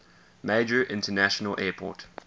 major international airport